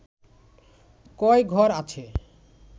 কয় ঘর আছে